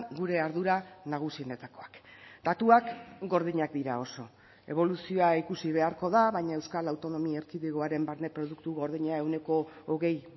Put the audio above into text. gure ardura nagusienetakoak datuak gordinak dira oso eboluzioa ikusi beharko da baina euskal autonomia erkidegoaren barne produktu gordina ehuneko hogei